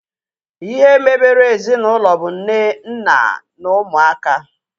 Ihe mebere ezinaụlọ bụ nne, nna na ụmụaka